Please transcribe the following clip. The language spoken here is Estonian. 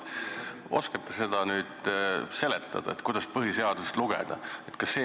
Oskate te seletada, kuidas siis põhiseadust tuleks lugeda?